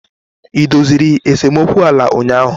E doziri esemokwu ala ụnyahụ?